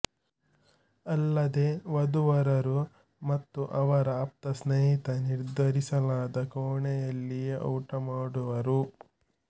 ಅಲ್ಲದೆ ವಧು ವರರು ಮತ್ತು ಅವರ ಆಪ್ತ ಸ್ನೇಹಿತ ನಿರ್ಧರಿಸಲಾದ ಕೋಣೆಯಲ್ಲಿಯೇ ಊಟ ಮಾಡುವರು